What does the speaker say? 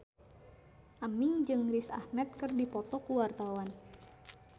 Aming jeung Riz Ahmed keur dipoto ku wartawan